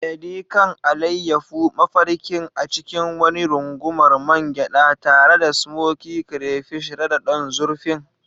Edi kan, alayyafo mafarkin a cikin wani rungumar man gyada, tare da smokey crayfish rada don zurfin.